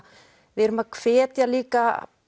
við erum að hvetja líka